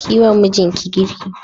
Kiyi wa mijinki girki